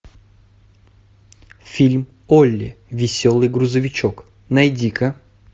фильм олли веселый грузовичок найди ка